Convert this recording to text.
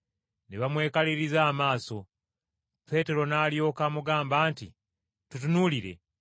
Ne bamwekaliriza amaaso, Peetero n’alyoka amugamba nti, “Tutunuulire!”